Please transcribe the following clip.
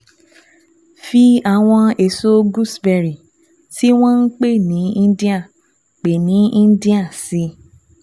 Fi àwọn èso gooseberry tí wọ́n ń pè ní Indian pè ní Indian sí i